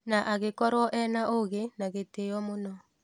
Na agĩkorwo ena ũgĩ na gĩtĩo mũno.